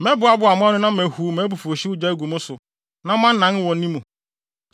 Mɛboaboa mo ano na mahuw mʼabufuwhyew gya agu mo so, na moanan wɔ ne mu.